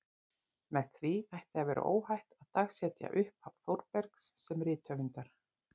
Með því ætti að vera óhætt að dagsetja upphaf Þórbergs sem rithöfundar.